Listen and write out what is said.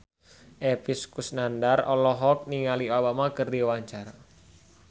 Epy Kusnandar olohok ningali Obama keur diwawancara